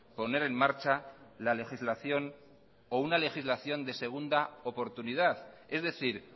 poner en marcha la legislación o una legislación de segunda oportunidad es decir